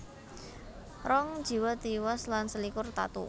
Rong jiwa tiwas lan selikur tatu